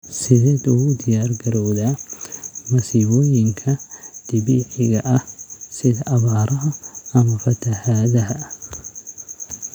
Sideed ugu diyaargarowdaa masiibooyinka dabiiciga ah sida abaaraha ama fatahaadaha?